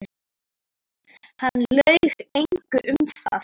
Hann laug engu um það.